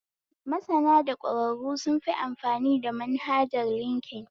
Masana da ɓɗƙwararru sun fi amfani da manhajar linkin